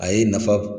A ye nafa